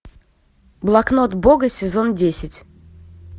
блокнот бога сезон десять